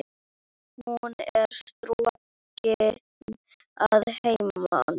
Hún er strokin að heiman.